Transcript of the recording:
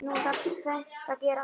Nú þarf tvennt að gerast.